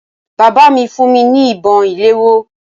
Bàbá mi fún mi ní ìbọn ìléwọ́